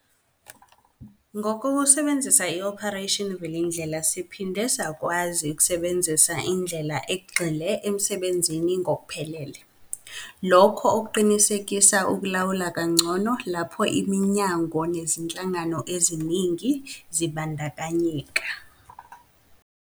Ngokusebenzisa i-Operation Vulindlela, siphinde sakwazi ukusebenzisa indlela egxile emsebenzini ngokuphelele, lokho okuqinisekise ukulawula kangcono lapho iminyango nezinhlangano eziningi zibandakanyeka.